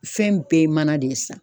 Fɛn bɛɛ ye mana de ye sisan.